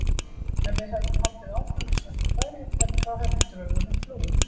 Ef við hefðum haldið áfram eins og ekkert væri, þá hefði draugurinn flúið.